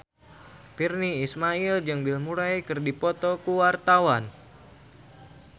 Virnie Ismail jeung Bill Murray keur dipoto ku wartawan